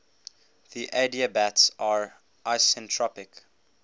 the adiabats are isentropic